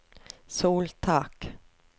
soltak